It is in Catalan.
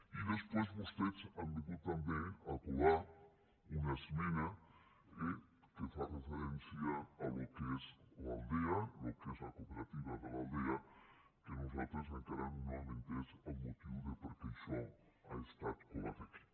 i després vostès han vingut també a colar una esmena que fa re·ferència al que és l’aldea el que és la cooperativa de l’aldea que nosaltres encara no hem entès el motiu pel qual això ha estat colat aquí